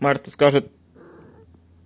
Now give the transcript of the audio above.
марта скажет